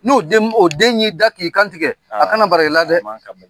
N'o den y'i da k'i kantigɛ a kana bala i la dɛ